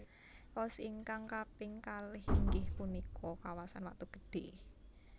Pos ingkang kaping kalih inggih punika kawasan Watu Gede